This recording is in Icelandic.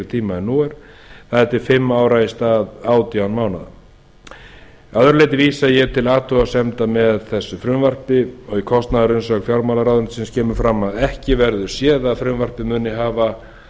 tíma en nú er það er til fimm ára í stað átján mánaða að öðru leyti vil ég vísa til athugasemda með frumvarpi þessu í kostnaðarumsögn fjármálaráðuneytisins kemur fram að ekki verði séð að frumvarpið muni hafa